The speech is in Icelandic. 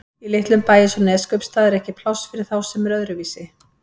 Í litlum bæ eins og Neskaupstað er ekki pláss fyrir þá sem eru öðruvísi.